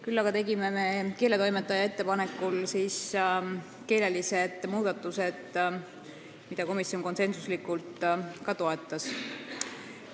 Küll aga tegime keeletoimetaja ettepanekul mõned keelelised muudatused, mida komisjon ka konsensuslikult toetas.